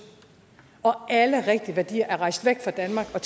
og alle rigtige værdier er rejst væk fra danmark og